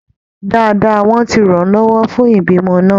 Dáadáa, wọ́n ti ràn án lọ́wọ́ fún ìbímọ náà